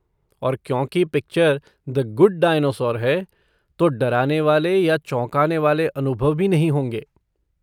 और क्योंकि picture The Good Dinosaur है, तो डराने वाले या चौंकाने वाले अनुभव भी नहीं होंगे।